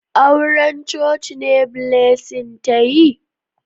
Auran coci ne Blessing ta yi?